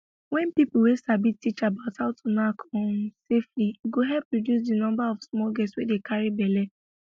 wen people wey sabi teach about how to knack um safely e go help reduce di number of small girls wey dey carry belle